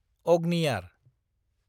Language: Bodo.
अग्नियार